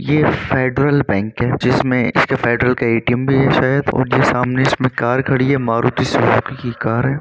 ये federal bank है जिसमें इसके फेडरल का एटीएम भी है शायद और जो सामने इसमें कार खड़ी है मारुति सुजुकी की कार है।